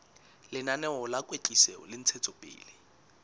lenaneo la kwetliso le ntshetsopele